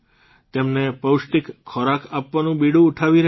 તેમને પૌષ્ટિક ખોરાક આપવાનું બીડું ઉઠાવી રહ્યા છે